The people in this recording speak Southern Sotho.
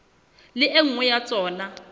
le e nngwe ya tsona